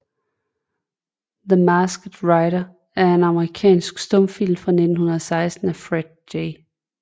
The Masked Rider er en amerikansk stumfilm fra 1916 af Fred J